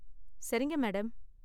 சரிங்க, மேடம்.